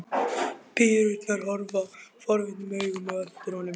Píurnar horfa forvitnum augum á eftir honum.